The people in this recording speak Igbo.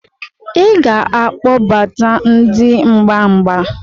Ị ga-akpọbata ndị mgba mgba